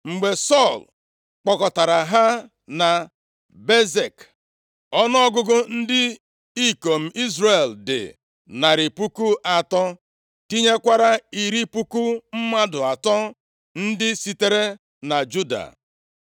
Mgbe Sọl kpọkọtara ha na Bezek, ọnụọgụgụ ndị ikom Izrel dị narị puku atọ, tinyekwara iri puku mmadụ atọ, ndị sitere na Juda.